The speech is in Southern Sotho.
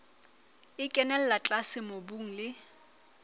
e kenella tlase mobung le